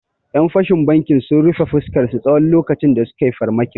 Ƴan fashin bankin sun rufe fuskarsu tsawon lokacin da sukai farmaki